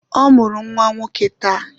Ọ mụrụ nwa nwoke taa